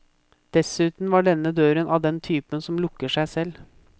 Dessuten var denne døren av den typen som lukker seg selv.